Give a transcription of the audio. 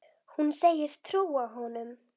Hún segist trúa honum.